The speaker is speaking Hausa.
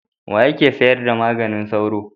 Wa yake sayar da maganin sauro?